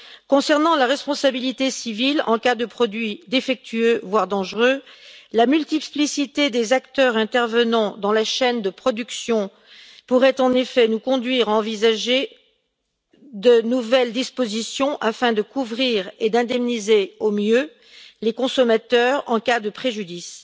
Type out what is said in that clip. Concernant la responsabilité civile en cas de produits défectueux voire dangereux, la multiplicité des acteurs intervenant dans la chaîne de production pourrait en effet nous conduire à envisager de nouvelles dispositions afin de couvrir et d'indemniser au mieux les consommateurs en cas de préjudice.